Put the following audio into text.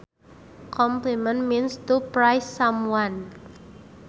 Compliment means to praise someone